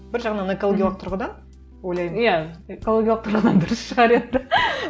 бір жағынан экологиялық тұрғыдан ойлаймын иә экологиялық тұрғыдан дұрыс шығар енді